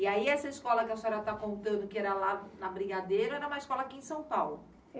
E aí essa escola que a senhora tá contando que era lá na Brigadeiro, era uma escola aqui em São Paulo?